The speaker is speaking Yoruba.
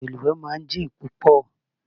Odò ìlúwẹ̀ẹ́ máa ń jìn púpọ̀